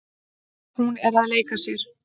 Hún er að leika sér.